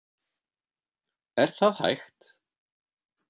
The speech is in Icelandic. Er það hægt?